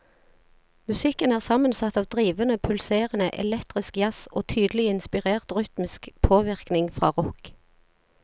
Musikken er sammensatt av drivende, pulserende, elektrisk jazz og tydelig inspirert rytmisk påvirkning fra rock.